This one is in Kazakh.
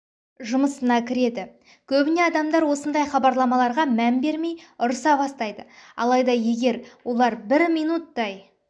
жұмыына кіреді көбінесе адамдар осындай хабарламаларға мән бермей ұрыса бастайды алайды егер олар бір минуттай